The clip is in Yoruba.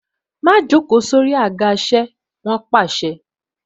Má joko sórí àga isẹ! Wọn pàṣẹ.